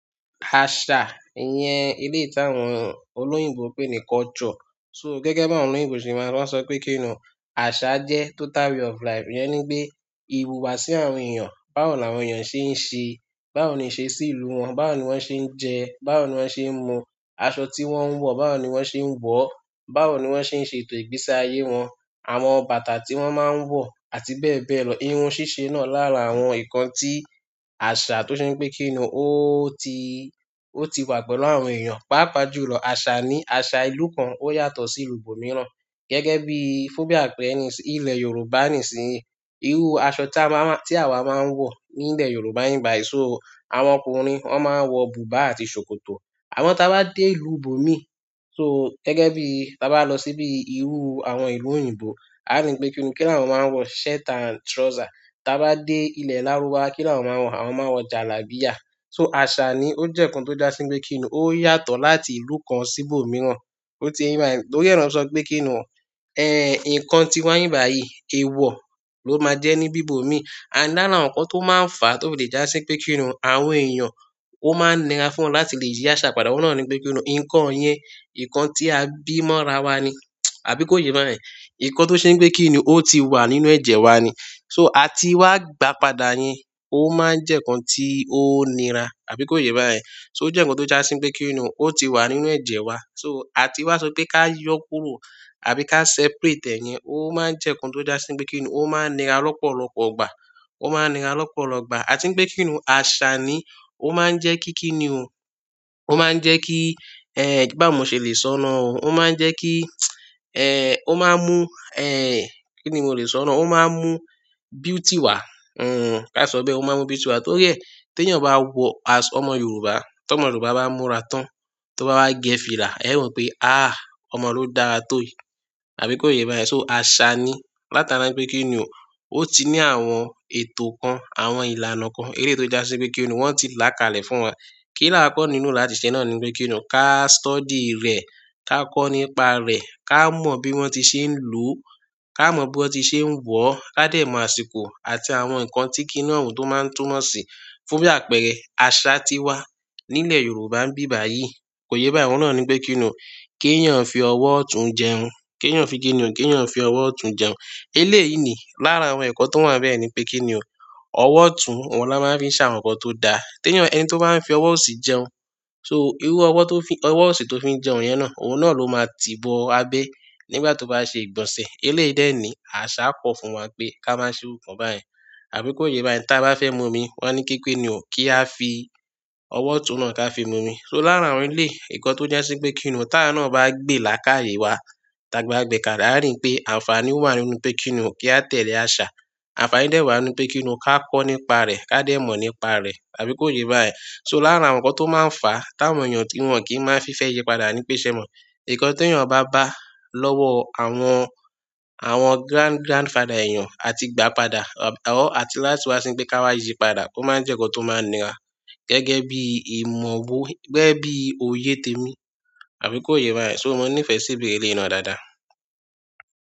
Àṣà iyẹn, eleyi tí àwọn olóyìnbo pé ní culture. So gẹ́gẹ́ bí àwọn olóyìnbo ṣe máa ń, wọn sọ pé kí ni àṣà jẹ́ total way of life. Ìyẹ́ni pé iwùwà sí àwọn èèyàn, báwo ni àwọn èèyàn ṣe ń ṣe, báwo ni ì ṣe sí ìlú wọn, báwo ni wọ́n ṣe ń jẹ, báwo ni wọ́n ṣe ń mu, aṣọ tí wọ́n ń wọ̀, báwo ni wọ́n ṣe ń wọ̀, báwo ni wọ́n ṣe ń ṣe ètò ìgbésí ayé wọn, àwọn bàtà tí wọ́n máa ń wọ̀ àti bẹ́ẹ̀ bẹ́ẹ̀ lọ. Irun ṣíṣe náà lára àwọn ǹkan tí àṣà tó ṣe ń gbé kíni, ó ti, ó ti wà pẹ̀lú àwọn èèyàn. Páa pà jùlọ, àṣà ní àṣà ìlú kan ó yàtọ̀ sí ìlú ibò míràn. Gẹ́gẹ́ bí, fún bí àpẹẹrẹ ní sì ilẹ̀ Yorùbá ní sì, irú aṣọ tí a máa, tí àwa máa ń wọ̀ ní ilẹ̀ Yorùbá ní bi bàyíì, so àwọn ọkùnrin wọn máa ń wọ bùbá àti ṣòkòtò. Àwọn tí a bá dé ìlú bòmíì, so gẹ́gẹ́ bí ta bá lọ síbí irú àwọn ìlú òyìnbó, a rí pé kí ni kí àwọn máa ń wọ shirt and trouser. Taa bá dé ilẹ̀. Lárúbáwá, kí ni àwọn máa ń wọ̀, àwọn máa ń wọ jalábíyà. So àṣà ni ó jẹ́ ǹkan tó já sí bíi kí ni ó yàtọ̀ láti ìlú kan sí ibò míràn. Ó ti ye yin ba yẹ̀n to ri e na se sọ pé kínu, eh, ǹkan tí wa ní bi bàyíì, èèwọ̀ ló máa jẹ́ ní bí bòmíì. And lára àwọn ǹkan tó máa ń fàá tó fi lè já sí pé kí ni àwọn èèyàn ó máa ń nira fún wọn láti lè yí àṣà padà. Òun náà ní pé kí ni ǹkan yẹn, ǹkan tí a bí mọ́ra wa ni, àbí kó yé bá yẹn. Ǹkan tó ṣe ń pé kí ni ó ti wà nínú ẹ̀jẹ̀ wa ni. So à tí wá gba padà yẹn, ó máa ń jẹ́ ǹkan tí ó nira, àbí kó yé bá yẹn. So ó jẹ́ ǹkan tó já sí pe kí ni ó ti wà nínú ẹ̀jẹ̀ wa. So à tí wá sọ pé ká yọ kúrò àbí ká separate ẹ̀ yẹn, ó máa ń jẹ́ ǹkan tó já sí pe kí ni ó máa ń nira lọ́pọ̀lọpọ̀ ìgbà, ó máa ń nira lọ́pọ̀lọpo ìgbà. A tí ń pe kí ni àṣà ni ó máa ń jẹ́ kí kí ni o. Ó máa ń jẹ́ kí, eh, báwo mo ṣe lè sọ̀ nà o. Ó máa ń jẹ́ kí, eh, ó máa mú, eh, kí ni mi ò lè sọ̀nà o. Ó máa mú beauty wá, hm, ká sọ bẹ́ẹ̀, ó máa mú beauty wá. Torí ẹ, tí èèyàn bá wọ aṣọ ọmọ Yorùbá, tí ọmọ Yorùbá bá múra tán, tí ó bá wá gẹ́ fìlà, ẹ̀ ó mọ̀ pé, ah, ọmọ ló dára tó yìí, àbí kó yé bá yẹn. So àṣà ni látara wi pé kí ni o. Ó ti ní àwọn ètò kan, àwọn ìlànà kan, eléyìí tó já sí pé kí ni wọ́n ti là ká lè fún wa. Kí la wọ́n kọ́ nínú láti ṣe náà ní pé kí ni o, ká study rẹ̀, ká kọ́ nípa rẹ̀, ká mọ̀ bí wọ́n ti ṣe ń lo o, ká mọ̀ bí wọ́n ti ṣe ń wọ̀ ọ́, ká dè mọ̀ àsìkò àti àwọn ǹkan tí kí ni ohun tó máa ń túmọ̀ sí. Fún bí àpẹẹrẹ, àṣà tí wá nílẹ̀ Yorùbá ń bí báyìí, kò yẹ bá ìwọ náà ní pé kí ni o. Kí èèyàn fi ọwọ́ ọ̀tún jẹun, kí èèyàn fi kí ni o, kí èèyàn fi ọwọ́ ọ̀tún jẹun. Eléyìí ni lára àwọn ẹ̀kọ́ tó wà bẹ́ẹ̀ ni pé kí ni o. Ọwọ́ ọ̀tún, wọn la máa ń fi ṣà àwọn ǹkan tó da. Tí èèyàn, ẹni tí ó bá ń fi ọwọ́ òsì jẹun, so irú ọwọ́ tó fi, ọwọ́ òsì tó fi ń jẹun yẹn náà, òun náà ló máa ti bó abẹ́ nígbà tó bá ṣe ìgbọ̀nsẹ̀. Eléyìí dẹ̀ ni àṣà kọ́ fún wa pé ká má ṣe irú kan báyìí, àbí kó yé bá yẹn. Taa bá fẹ́ mu omi, wọ́n ní pé ki ni o, kí a fi ọwọ́ ọ̀tún náà ká fi mu omi. So lára àwọn ilé ẹ̀kọ́ tó já sí pé kí ni o. Taa awa náà bá gbé làakaye wa, ta ba gbè kàle a rí pé àǹfààní wà nínú pé kí ni o, kí a tẹ̀lé àṣà. Àǹfààní dẹ̀ wà nínú pé kí ni o, ká kọ́ nípa rẹ̀, ká dè mọ̀ nípa rẹ̀, àbí kó yé bá yẹn. So lára àwọn ǹkan tó máa ń fàá táwọn èèyàn tí wọn kì í máa ń fi fẹ́ yípadà ní pèsè mọ̀. Ǹkan tí èèyàn bá bá lọ́wọ́ àwọn, àwọn grand grandfather èèyàn àti gbá padà, or àti láti wá ni pé ká wá yípadà, ó máa ń jẹ́ ǹkan tó máa ń nira. Gẹ́gẹ́ bí ìmọ̀, gẹ́gẹ́ bí òye tèmi, àbí kó yé bá yẹn. So mo nífẹ̀ẹ́ sí ìbéèrè eleyi na dáadáa.